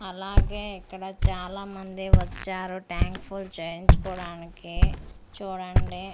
అలాగే ఇక్కడ చాలామంది వచ్చారు ట్యాంక్ ఫుల్ చేయించుకోవడానికి చూడండి.